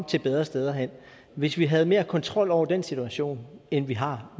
til bedre steder og hvis vi havde mere kontrol over den situation end vi har